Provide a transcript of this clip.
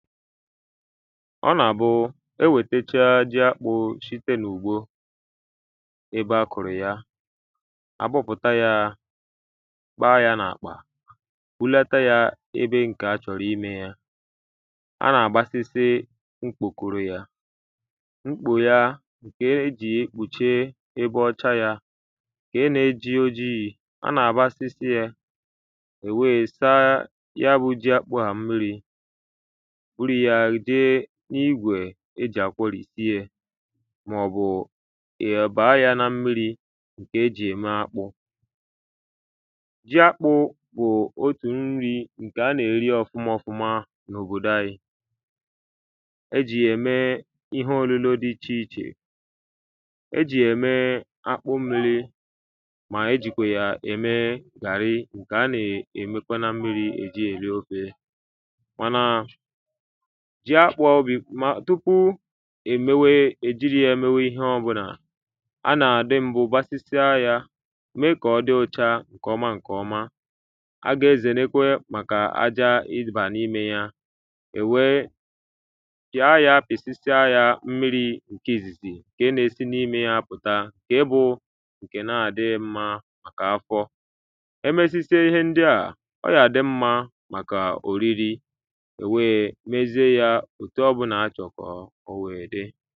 ọnà àbụụ enwètacha jị akpụ̄ shịte n’ùgbo ebe akùrù ya agbụgbùta yaa kpa yā nà-àkpà bụlata yā ebe ǹkè achọ̀rọ̀ ịnē ya anà-àgbasịsị mkpùkụrụ yā mkpò ya kèè ejì ye ekpùche ibọcha yā kee n'eji ojiī anà-àgba sịsịẹ̄ èweē saa ya bụ̄ jị akpụ̄ à mmirī bụrụ yā jee n'igwè ejì àkwọrìsị yē màọ̀bù ìyà bàa ya na mmirī ǹkè ejì ème akpụ̄ jị akpụ̄ bù otù nrị̄ ǹkè anà-èrị ọ̀fuma ọfuma ǹ’òbòdò anyi ejì yà ème ihe ònụno dị ịchì ịchè ejì yà ème akpụ mmirī mà ejìkwà yà ème gàrịị ǹkè anà émekwa na mmirī èjị ya èrị ofē mànà tụpụ èjiri yā mewe ihe ọbụnà anà àdị mbu gbasịsịa yā mee kà ọdị ùchaa ǹkè ọma ǹkè ọma agà ezèrekwe màkà aja ịbà n’imē ya ènwee pị̀a ya pìsịsịa ya mmirī ǹkị ìzìzì ǹke n'esị n’imē ya pùta ǹke bụụ ǹkè na-àdịghī mmā kà afọ emesịsịa ihe ndịàà ọyà àdị mmā màkà òrịrị ènweē mezịe yā òtụ ọbunà achọ̀kọ̀ owèe dị